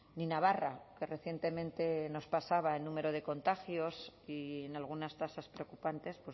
ni navarra que recientemente nos pasaba en número de contagios y en algunas tasas preocupantes